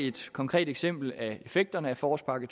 et konkret eksempel af effekterne af forårspakke